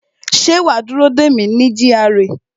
Ṣé wa á dúró dè mí ní GRA